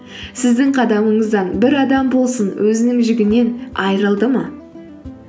сіздің қадамыңыздан бір адам болсын өзінің жүгінен айырылды ма